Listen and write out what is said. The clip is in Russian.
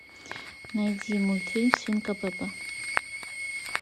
найди мультфильм свинка пеппа